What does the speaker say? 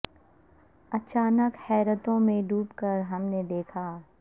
اچانک حیرتوں میں ڈوب کر ہم نے یہ دیکھا